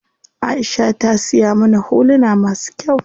Aisha ta siya mana huluna masu kyau.